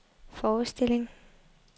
forestilling